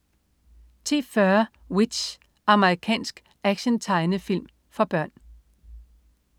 10.40 W.i.t.c.h. Amerikansk tegnefilmserie for børn